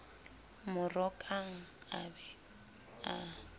mo rokang a be a